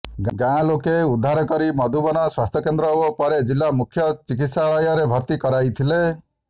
ଗାଁଲୋକ ଉଦ୍ଧାର କରି ମଧୁବନ ସ୍ୱାସ୍ଥ୍ୟକେନ୍ଦ୍ର ଓ ପରେ ଜିଲ୍ଲା ମୁଖ୍ୟ ଚିକିତ୍ସାଳୟରେ ଭର୍ତ୍ତି କରାଇଥିଲେ